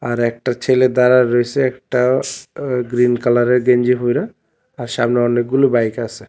আর একটা ছেলে দাঁড়ায় রইসে একটা অ গ্রীন কালারের গেঞ্জি পইরা আর সামনে অনেকগুলো বাইক আছে।